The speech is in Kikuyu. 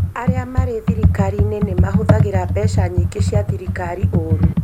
Arĩa marĩ thirikari-inĩ nĩ mahũthagĩra mbeca nyingĩ cia thirikari ũũru